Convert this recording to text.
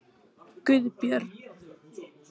Guðbjörn